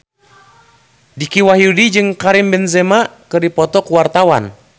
Dicky Wahyudi jeung Karim Benzema keur dipoto ku wartawan